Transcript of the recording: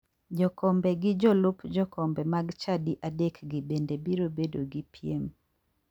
Jokombe gi jolup jokombe mag chadi adekgi bende biro bedo gi piem.